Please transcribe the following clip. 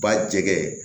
Ba jɛgɛ